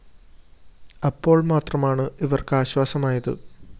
അപ്പോള്‍ മാത്രമാണ് ഇവര്‍ക്ക് ആശ്വാസമായത്